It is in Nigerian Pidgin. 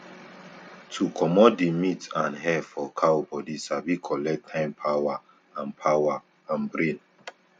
to comot di meat and hair for cow bodi sabi collect time power and power and brain